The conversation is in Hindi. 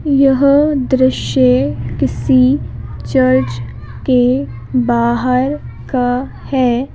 यह दृश्य किसी चर्च के बाहर का है।